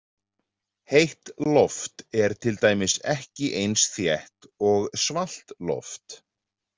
Heitt loft er til dæmis ekki eins þétt og svalt loft.